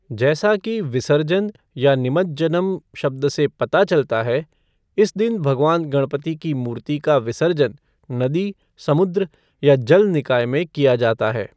जैसा कि 'विसर्जन' या 'निमज्जनम्' शब्द से पता चलता है, इस दिन भगवान गणपति की मूर्ति का विसर्जन नदी, समुद्र या जल निकाय में किया जाता है।